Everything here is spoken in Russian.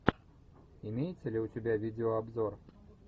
имеется ли у тебя видеообзор